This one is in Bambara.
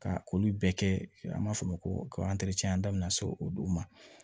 Ka olu bɛɛ kɛ an b'a fɔ o ma ko o don ma